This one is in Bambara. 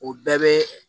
O bɛɛ bɛ